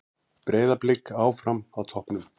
Breiðablik áfram á toppnum